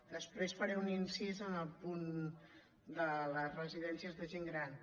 després faré un incís en el punt de les residències de gent gran